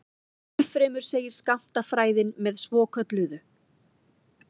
Ennfremur segir skammtafræðin með svokölluðu